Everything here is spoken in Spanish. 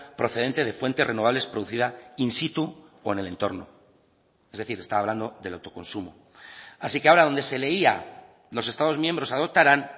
procedente de fuentes renovables producida in situ o en el entorno es decir está hablando del autoconsumo así que ahora donde se leía los estados miembros adoptarán